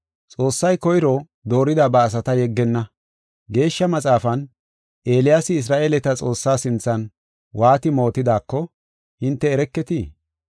Xoossay koyro doorida ba asata yeggenna. Geeshsha Maxaafan, Eeliyaasi Isra7eeleta Xoossaa sinthan waati mootidaako, hinte ereketii?